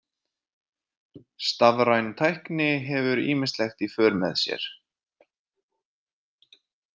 Stafræn tækni hefur ýmislegt í för með sér.